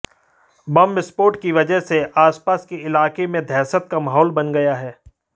बम विस्फोट की वजह से आसपास के इलाके में दहशत का माहौल बन गया है